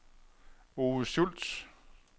Ove Schulz